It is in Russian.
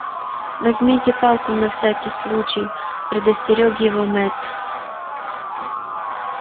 возьмите палку на всякий случай предостерёг его мэтт